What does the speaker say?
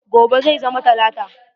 Gobe zai zama talata.